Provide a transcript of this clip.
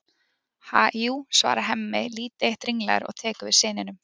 Ha, jú, svarar Hemmi lítið eitt ringlaður og tekur við syninum.